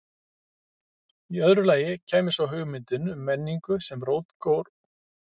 Í öðru lagi kæmi svo hugmyndin um menningu sem rótgróinn sið, sameiginlegan arf.